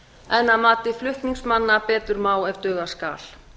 en að mati flutningsmanna betur má ef duga skal